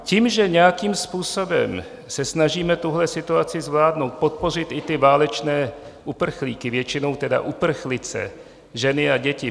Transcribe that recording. Tím, že nějakým způsobem se snažíme tuhle situaci zvládnout, podpořit i ty válečné uprchlíky, většinou tedy uprchlice, ženy a děti.